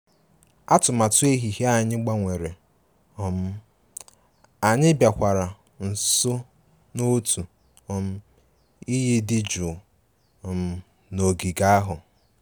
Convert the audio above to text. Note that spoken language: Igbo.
Atụmatụ ehihie anyị gbanwere, um anyị bịakwara nso n'otu um iyi dị jụụ um n'ogige ahụ